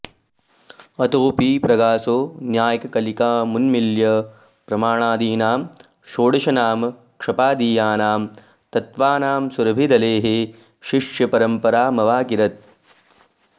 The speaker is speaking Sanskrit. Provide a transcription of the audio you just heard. अतोऽपि प्रागसौ न्यायकलिकामुन्मील्य प्रमाणादीनां षोडशनामक्षपादीयानां तत्त्वानां सुरभिदलैः शिष्यपरम्परामवाकिरत्